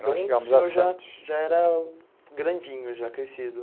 Nós chegamos a Santos Então o senhor já era grandinho, já crescido.